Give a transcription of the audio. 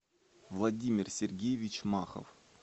владимир сергеевич махов